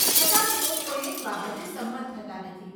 છતાં, તેઓ કોઈ એક બાબતે સંમત થતાં નથી